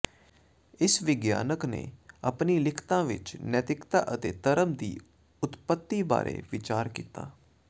ਇਸ ਵਿਗਿਆਨਕ ਨੇ ਆਪਣੀਆਂ ਲਿਖਤਾਂ ਵਿੱਚ ਨੈਤਿਕਤਾ ਅਤੇ ਧਰਮ ਦੀ ਉਤਪਤੀ ਬਾਰੇ ਵਿਚਾਰ ਕੀਤਾ